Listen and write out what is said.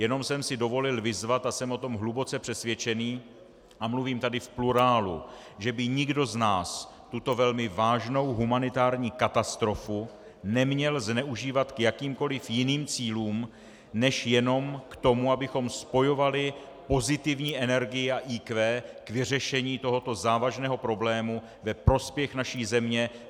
Jenom jsem si dovolil vyzvat, a jsem o tom hluboce přesvědčený a mluvím tady v plurálu, že by nikdo z nás tuto velmi vážnou humanitární katastrofu neměl zneužívat k jakýmkoliv jiným cílům, než jenom k tomu, abychom spojovali pozitivní energii a IQ k vyřešení tohoto závažného problému ve prospěch naší země.